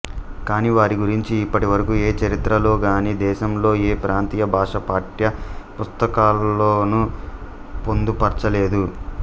కానీ వారి గురించి ఇప్పటివరకూ ఏ చరిత్రలో గానీ దేశంలోని ఏ ప్రాంతీయ భాషా పాఠ్య పుస్తకాల్లోనూ పొందుపర్చలేదు